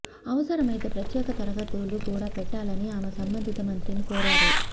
అవసరమైతే ప్రత్యేక తరగతులు కూడా పెట్టాలని ఆమె సంబంధిత మంత్రిని కోరారు